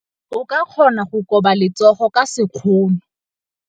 O ka kgona go koba letsogo ka sekgono.